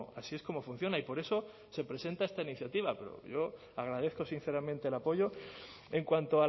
así es como funciona y por eso se presenta esta iniciativa pero yo agradezco sinceramente el apoyo en cuanto